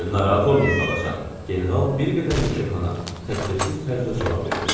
Narahat olmayın, xalacan, General bir qədər yekəxana təklifsiz tərzdə cavab verdi.